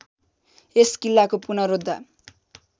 यस किल्लाको पुनरोद्धा